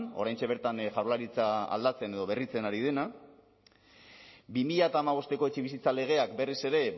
oraintxe bertan jaurlaritza aldatzen edo berritzen ari dena bi mila hamabosteko etxebizitza legeak berez ere